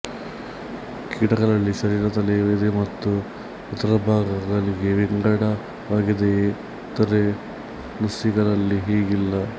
ಕೀಟಗಳಲ್ಲಿ ಶರೀರ ತಲೆ ಎದೆ ಮತ್ತು ಉದರ ಭಾಗಗಳಾಗಿ ವಿಂಗಡವಾಗಿದೆಯಾದರೆ ನುಸಿಗಳಲ್ಲಿ ಹೀಗಿಲ್ಲ